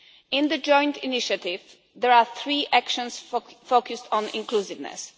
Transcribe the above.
In the joint initiative there are three actions focused on inclusiveness.